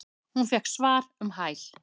Hún fékk svar um hæl.